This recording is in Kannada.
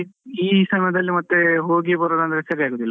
ಈ ಸಮಯದಲ್ಲಿ ಮತ್ತೆ ಹೋಗಿ ಬರುದಂದ್ರೆ ಸರಿ ಆಗುದಿಲ್ಲ.